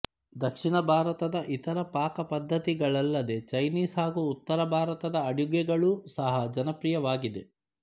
ದಕ್ಷಿಣ ಭಾರತದ ಇತರ ಪಾಕ ಪದ್ದತಿಗಳಲ್ಲದೆ ಚೈನೀಸ್ ಹಾಗು ಉತ್ತರ ಭಾರತದ ಅಡುಗೆಗಳೂ ಸಹ ಜನಪ್ರಿಯವಾಗಿದೆ